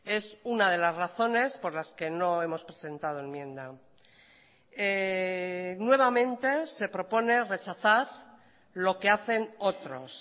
es una de las razones por las que no hemos presentado enmienda nuevamente se propone rechazar lo que hacen otros